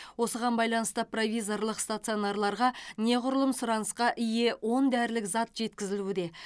осыған байланысты провизорлық стационарларға неғұрлым сұранысқа ие он дәрілік зат жеткізілуде